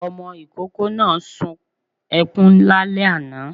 Ọmọ ikoko náá suǹ ekuń lálẹ aná